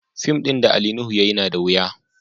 Fim din Ali Nuhu ya yi nada wuya.